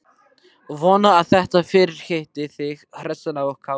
Vona að þetta fyrirhitti þig hressan og kátan.